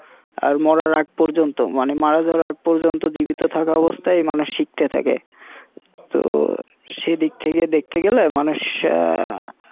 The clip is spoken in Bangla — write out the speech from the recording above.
আর মরার আগ পর্যন্ত মানে মারা যাওয়ার আগ পর্যন্ত জীবিত থাকা অবস্থায় মানুষ শিখতে থাকে তো সেদিক থেকে দেখতে গেলে মানুষ